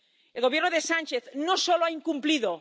El Gobierno de Sánchez no solo ha incumplido.